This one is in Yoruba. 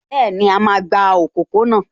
Bẹ́ẹ̀ni, a máa gba òpópó-ọ̀nà